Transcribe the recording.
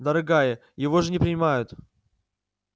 дорогая его же не принимают